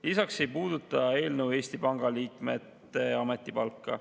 Lisaks ei puuduta eelnõu Eesti Panga Nõukogu liikmete ametipalka.